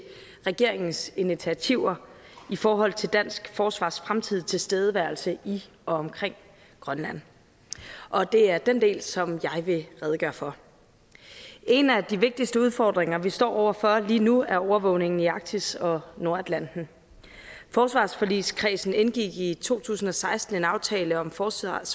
regeringens initiativer i forhold til dansk forsvars fremtidige tilstedeværelse i og omkring grønland og det er den del som jeg vil redegøre for en af de vigtigste udfordringer vi står over for lige nu er overvågningen i arktis og nordatlanten forsvarsforligskredsen indgik i to tusind og seksten en aftale om forsvarets